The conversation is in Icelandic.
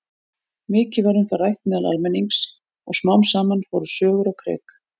Mikið var um það rætt meðal almennings og smám saman fóru sögur á kreik.